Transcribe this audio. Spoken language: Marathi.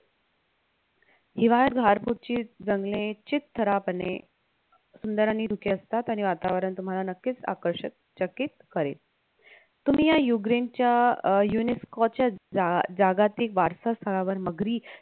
हिवाळ्यात घरपूरची जंगले चितथरापणे सुंदर आणि धुके असतात आणि वातावरण तुम्हाला नक्कीच आकर्षक चकित करेल तुम्ही या उग्रेनच्या अह UNESCO च्या अह जागातिक वारसा स्थळावर मगरी